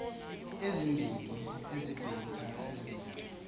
ezimbini zebiblecor eziya